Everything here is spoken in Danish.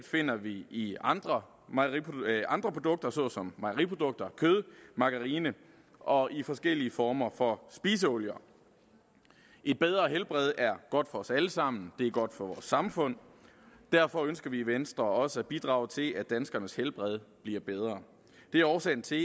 finder vi i andre andre produkter såsom mejeriprodukter kød margarine og forskellige former for spiseolier et bedre helbred er godt for os alle sammen det er godt for vores samfund og derfor ønsker vi i venstre også at bidrage til at danskernes helbred bliver bedre det er årsagen til